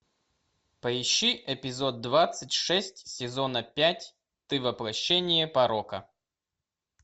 поищи эпизод двадцать шесть сезона пять ты воплощение порока